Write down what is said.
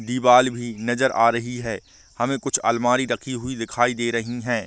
दीवाल भी नजर आ रही है हमे कुछ अलमारी रखी हुई दिखाई दे रही हैं ।